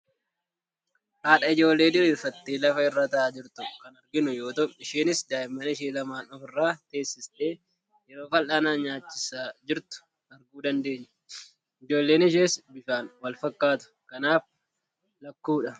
Haadha ijoollee diriirfattee lafa irra taa'aa jirtu kan arginu yoo ta'u, isheenis daa'imman ishee lamaan of irra teessistee yeroo fal'aanaan nyaachisaa jirtu arguu dandeenya. Ijoolleen ishees bifaan walfakkaatu. Kanaaf, lakkuudha.